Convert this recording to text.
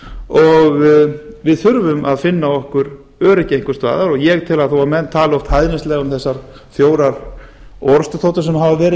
og við þurfum að finna okkur öryggi einhvers staðar ég tel að þó að menn tali oft hæðnislega um þessar fjórar orrustuþotur sem hafa og